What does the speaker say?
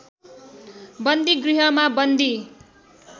बन्दीगृहमा बन्दी